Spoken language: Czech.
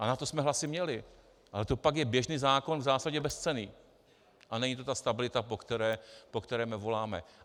A na to jsme hlasy měli, ale to pak je běžný zákon v zásadě bezcenný a není to ta stabilita, po které my voláme.